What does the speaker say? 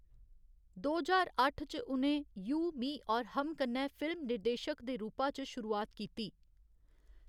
दो ज्हार अट्ठ च उ'नें 'यू मी और हम' कन्नै फिल्म निर्देशक दे रूपा च शुरुआत कीती।